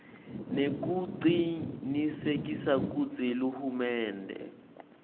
nekucinisekisa kutsi hulumende